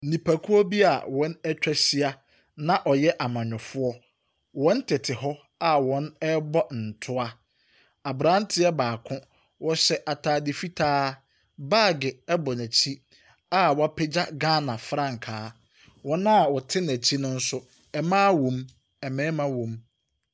Nipskuo bi a wɔn ewa ɛhyia na wɔyɛ amanyɔfoɔ. Wɔn tete hɔ a wɔn ɛɛbɔ nntua. Abranteɛ baako, ɔhyɛ ataade fitaa, baagi ɛbɔ n'ekyi a wapegya Ghana frankaa. Wɔn a wɔti nekyi no nso, ɛmmaa womu, ɛɛmmɛɛma wɔ mu.